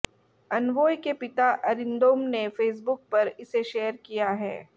अनवोय के पिता अरिंदोम ने फेसबुक पर इसे शेयर किया है